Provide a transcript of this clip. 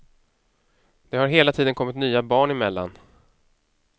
Det har hela tiden kommit nya barn emellan.